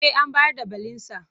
Eh an bayar da belinsa.